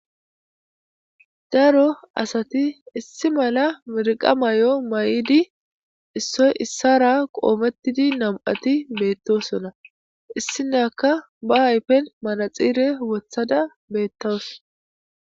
Daro asati issi mala mereqqa Mayo mayidi issoyi isara qommetidi nam'ati bettossona issinyakka be ayifen manaxxire woththadda betawus.